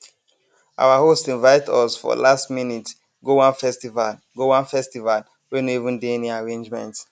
our host invite us for last minute go one festival go one festival wey no even dey any arrangement